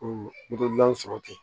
O dilan sɔrɔ ten